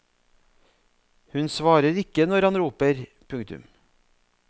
Hun svarer ikke når han roper. punktum